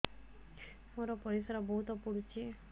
ମୋର ପରିସ୍ରା ବହୁତ ପୁଡୁଚି